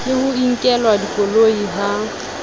le ho nkelwa dikoloi ha